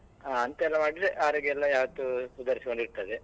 ಅಂತದ್ದೆಲ್ಲಾ ಮಾಡಿದ್ರೆ ಆರೋಗ್ಯ ಎಲ್ಲ ಯಾವತ್ತೂ ಸುಧಾರಿಸಿಕೊಂಡು ಇರ್ತದೆ.